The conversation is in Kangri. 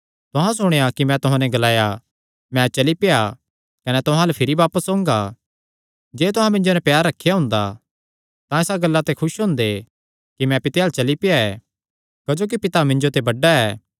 तुहां सुणेया कि मैं तुहां नैं ग्लाया मैं चली पेआ कने तुहां अल्ल भिरी बापस ओंगा जे तुहां मिन्जो नैं प्यार रखेयां हुंदा तां इसा गल्ला ते खुस हुंदे कि मैं पिता अल्ल चली पेआ क्जोकि पिता मिन्जो ते बड्डा ऐ